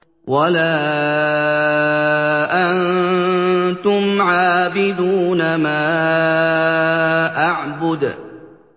وَلَا أَنتُمْ عَابِدُونَ مَا أَعْبُدُ